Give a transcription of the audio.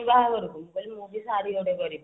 ମୁଁ ବି ଶାଢୀ ଗୋଟେ କରିବି